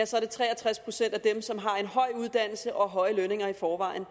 så er det tre og tres procent af dem som har en høj uddannelse og høje lønninger i forvejen